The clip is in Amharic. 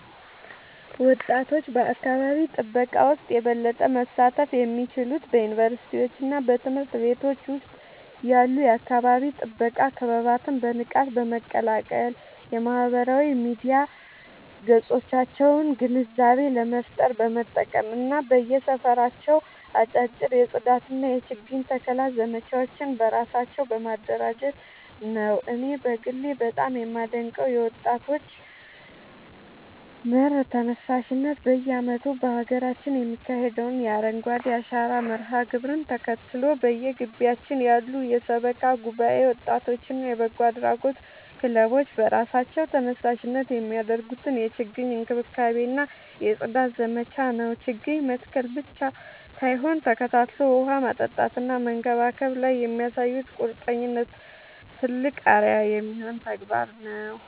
ወጣቶች በአካባቢ ጥበቃ ውስጥ የበለጠ መሳተፍ የሚችሉት በዩኒቨርሲቲዎችና በትምህርት ቤቶች ውስጥ ያሉ የአካባቢ ጥበቃ ክበባትን በንቃት በመቀላቀል፣ የማህበራዊ ሚዲያ ገጾቻቸውን ግንዛቤ ለመፍጠር በመጠቀም እና በየሰፈራቸው አጫጭር የጽዳትና የችግኝ ተከላ ዘመቻዎችን በራሳቸው በማደራጀት ነው። እኔ በግሌ በጣም የማደንቀው የወጣቶች መር ተነሳሽነት በየዓመቱ በሀገራችን የሚካሄደውን የአረንጓዴ አሻራ መርሃ ግብርን ተከትሎ፣ በየግቢያችን ያሉ የሰበካ ጉባኤ ወጣቶችና የበጎ አድራጎት ክለቦች በራሳቸው ተነሳሽነት የሚያደርጉትን የችግኝ እንክብካቤና የጽዳት ዘመቻ ነው። ችግኝ መትከል ብቻ ሳይሆን ተከታትሎ ውሃ ማጠጣትና መንከባከብ ላይ የሚያሳዩት ቁርጠኝነት ትልቅ አርአያ የሚሆን ተግባር ነው።